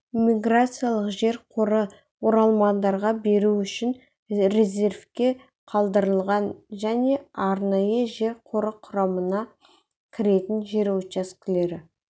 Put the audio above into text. иммиграциялық жер қоры оралмандарға беру үшін резервке қалдырылған және арнайы жер қоры құрамына кіретін жер учаскелері